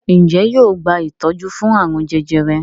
Njé yóò gba itọju fún arun jẹjẹrẹ?